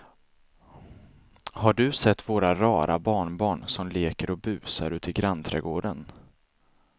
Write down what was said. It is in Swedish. Har du sett våra rara barnbarn som leker och busar ute i grannträdgården!